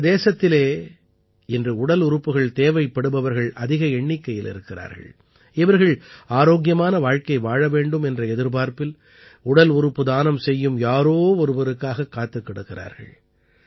நமது தேசத்திலே இன்று உடல் உறுப்புகள் தேவைப்படுபவர்கள் அதிக எண்ணிக்கையில் இருக்கிறார்கள் இவர்கள் ஆரோக்கியமான வாழ்க்கை வாழ வேண்டும் என்ற எதிர்பார்ப்பில் உடல் உறுப்பு தானம் செய்யும் யாரோ ஒருவருக்காகக் காத்துக் கிடக்கிறார்கள்